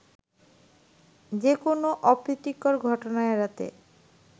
যেকোন অপ্রীতিকর ঘটনা এড়াতে